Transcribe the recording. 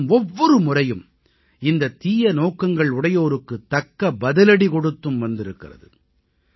தேசம் ஒவ்வொரு முறையும் இந்த தீய நோக்கங்கள் உடையோருக்கு தக்க பதிலடி கொடுத்தும் வந்திருக்கிறது